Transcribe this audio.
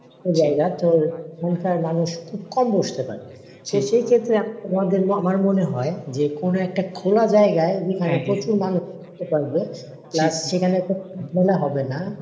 ছোট জায়গাতো সংখ্যায় মানুষ খুব কম বসতে পারে। সে সেই ক্ষেত্রে আমরা আমাদের আমার মনে হয় যে কোন একটা খোলা জায়গায় যেখানে প্রচুর মানুষ বসতে পারবে। plus সেখানে ঝামেলা হবে না,